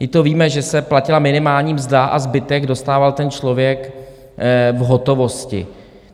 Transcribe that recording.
My to víme, že se platila minimální mzda a zbytek dostával ten člověk v hotovosti.